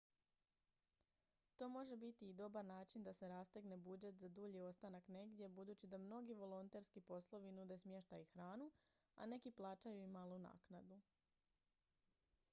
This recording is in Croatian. to može biti i dobar način da se rastegne budžet za dulji ostanak negdje budući da mnogi volonterski poslovi nude smještaj i hranu a neki plaćaju i malu naknadu